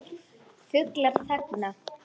Fuglar þagna.